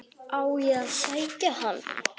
Á ég að sækja hann?